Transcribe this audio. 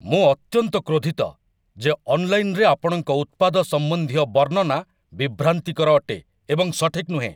ମୁଁ ଅତ୍ୟନ୍ତ କ୍ରୋଧିତ ଯେ ଅନ୍‌ଲାଇନ୍‌‌ରେ ଆପଣଙ୍କ ଉତ୍ପାଦ ସମ୍ବନ୍ଧୀୟ ବର୍ଣ୍ଣନା ବିଭ୍ରାନ୍ତିକର ଅଟେ ଏବଂ ସଠିକ୍ ନୁହେଁ।